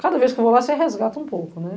Cada vez que eu vou lá, você resgata um pouco, né?